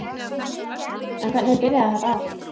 En hvernig byrjaði þetta allt?